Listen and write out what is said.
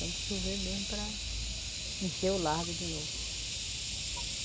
Tem que chover mesmo para encher o largo de novo.